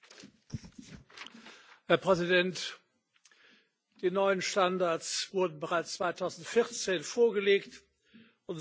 Herr Präsident! Die neuen Standards wurden bereits 2014 vorgelegt und sollten ursprünglich zum